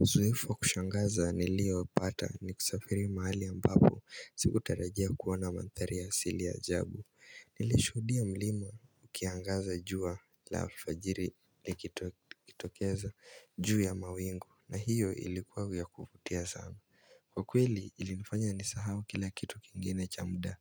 Uzoefu wa kushangaza niliopata ni kusafiri mahali ambapo sikutarajia kuona manthari ya asili ya ajabu Nileshuhudia mlima ukiangaza jua la alfajiri nikitokeza juu ya mawingu na hiyo ilikuwa ya kuvutia sana. Kwa kweli ilinifanya nisahau kila kitu kingine cha muda